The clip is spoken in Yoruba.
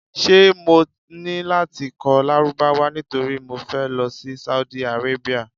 Ṣé mo ní láti kọ́ Lárúbáwá nítorí mo fẹ́ lọ sí Saudi Arabia?